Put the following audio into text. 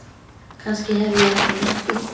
Kannski hef ég ekki nennt því.